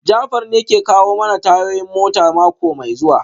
Jafar ne ke kawo mana tayoyin mota mako mai zuwa